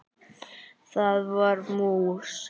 Það var mús!